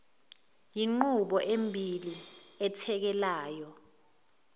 yinqubo embili ethekelana